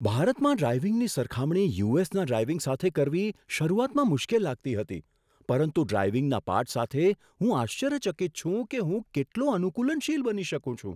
ભારતમાં ડ્રાઇવિંગની સરખામણી યુ.એસ.ના ડ્રાઇવિંગ સાથે કરવી શરૂઆતમાં મુશ્કેલ લાગતી હતી, પરંતુ ડ્રાઇવિંગના પાઠ સાથે, હું આશ્ચર્યચકિત છું કે હું કેટલો અનુકૂલનશીલ બની શકું છું!